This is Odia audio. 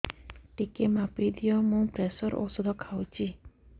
ଟିକେ ମାପିଦିଅ ମୁଁ ପ୍ରେସର ଔଷଧ ଖାଉଚି